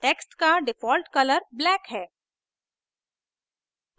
text का default color black है